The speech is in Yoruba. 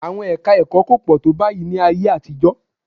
Àwọn ẹka-ẹ̀kọ́ kò pọ̀ tó báyìí ní ayé àtijọ́